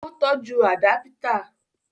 Ó tọ́jú àdápítà